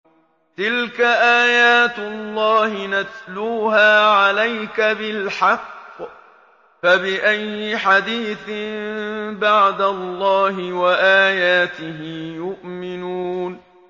تِلْكَ آيَاتُ اللَّهِ نَتْلُوهَا عَلَيْكَ بِالْحَقِّ ۖ فَبِأَيِّ حَدِيثٍ بَعْدَ اللَّهِ وَآيَاتِهِ يُؤْمِنُونَ